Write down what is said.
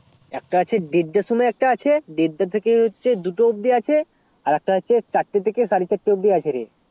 একটা আছে দেডটা সময় আছে দেডটা থেকে দুটো অব্দি আছে আরেকটা আছে চারটে থেকে সাড়েচারটে অব্দি আছে